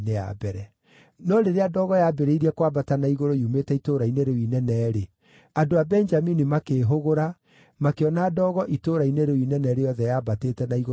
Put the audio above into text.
No rĩrĩa ndogo yambĩrĩirie kwambata na igũrũ yumĩte itũũra-inĩ rĩu inene-rĩ, andũ a Benjamini makĩĩhũgũra makĩona ndogo itũũra-inĩ rĩu inene rĩothe yambatĩte na igũrũ matu-inĩ.